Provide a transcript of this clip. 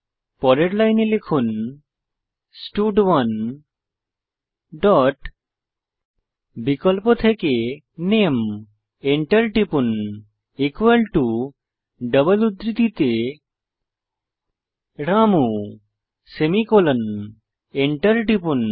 পরের লাইনে লিখুন স্টাড1 ডট বিকল্প থেকে নামে এন্টার টিপুন ডবল উদ্ধৃতিতে রামু সেমিকোলন এন্টার টিপুন